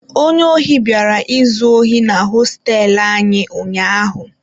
Onye ohi bịara izu ohi na hosteelu anyị ụnyahụ.